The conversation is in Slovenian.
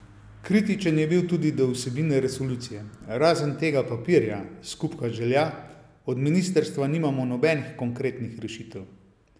Kritičen je bil tudi do vsebine resolucije: "Razen tega papirja, skupka želja, od ministrstva nimamo nobenih konkretnih rešitev".